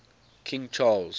king charles